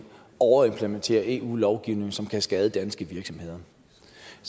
overimplementere eu lovgivning som kan skade danske virksomheder